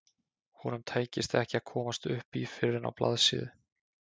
Honum tækist ekki að komast upp í fyrr en á blaðsíðu